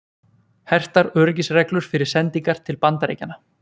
Hertar öryggisreglur fyrir sendingar til Bandaríkjanna